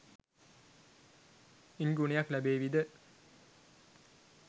ඉන් ගුණයක් ලැබේවිද?